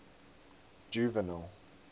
juvenal